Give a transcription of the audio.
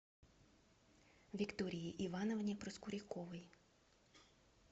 виктории ивановне проскуряковой